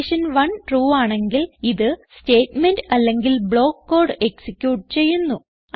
condition 1 true ആണെങ്കിൽ ഇത് statement അല്ലെങ്കിൽ ബ്ലോക്ക് കോഡ് എക്സിക്യൂട്ട് ചെയ്യുന്നു